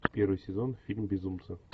первый сезон фильм безумцы